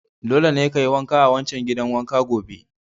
Dole ne kayi wanka a wancan gidan wanka gobe!